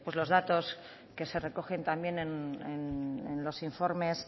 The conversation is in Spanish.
lo datos que se recogen también en los in formes